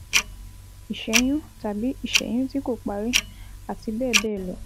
Ìṣẹ́yún tàbí ìṣẹ́yún tí kò parí, àti bẹ́ẹ̀ bẹ́ẹ̀ lọ